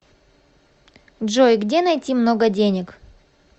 джой где найти много денег